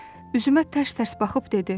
Üzümə tərs-tərs baxıb dedi: